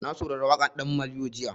Na saurari waƙar ɗan maliyo jiya.